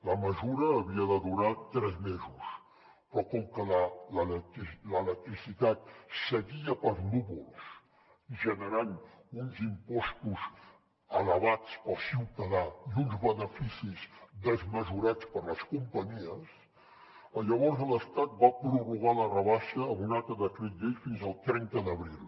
la mesura havia de durar tres mesos però com que la l’electricitat seguia pels núvols generant uns impostos elevats per al ciutadà i uns beneficis desmesurats per a les companyies llavors l’estat va prorrogar la rebaixa amb un altre decret llei fins al trenta d’abril